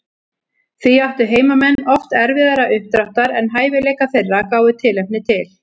Því áttu heimamenn oft erfiðara uppdráttar en hæfileikar þeirra gáfu tilefni til.